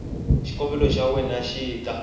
xikombelo xa wena xi ta